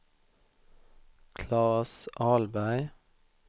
Claes Ahlberg